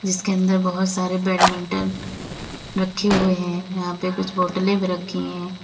इसके अन्दर बहुत सारे बैडमिंटन रखे हुए है यहां पे कुछ बोटले भी रखी है।